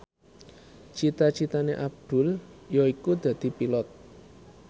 cita citane Abdul yaiku dadi Pilot